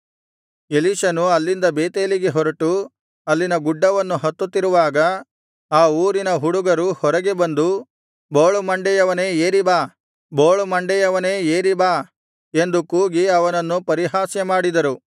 ಎಲೀಷನು ಅಲ್ಲಿಂದ ಬೇತೇಲಿಗೆ ಹೊರಟು ಅಲ್ಲಿನ ಗುಡ್ಡವನ್ನು ಹತ್ತುತ್ತಿರುವಾಗ ಆ ಊರಿನ ಹುಡುಗರು ಹೊರಗೆ ಬಂದು ಬೋಳು ಮಂಡೆಯವನೇ ಏರಿ ಬಾ ಬೋಳು ಮಂಡೆಯವನೇ ಏರಿ ಬಾ ಎಂದು ಕೂಗಿ ಅವನನ್ನು ಪರಿಹಾಸ್ಯ ಮಾಡಿದರು